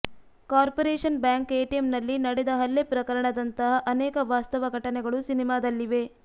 corporation bank ಎಟಿಎಂನಲ್ಲಿ ನಡೆದ ಹಲ್ಲೆ ಪ್ರಕರಣದಂತಹ ಅನೇಕ ವಾಸ್ತವ ಘಟನೆಗಳು ಸಿನಿಮಾದಲ್ಲಿವೆ